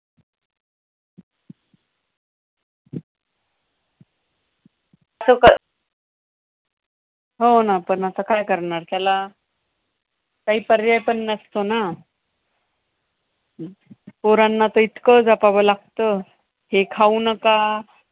हो ना, पण आता काय करणार त्याला? काही पर्याय पण नसतो ना! पोरांना तर इतकं जपावं लागतं, हे खाऊ नका,